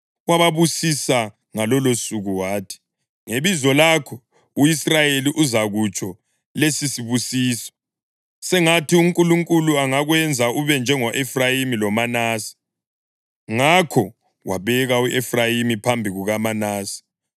Wababusisa ngalolusuku wathi, “Ngebizo lakho u-Israyeli uzakutsho lesisibusiso: ‘Sengathi uNkulunkulu angakwenza ube njengo-Efrayimi loManase.’ ” Ngakho wabeka u-Efrayimi phambi kukaManase.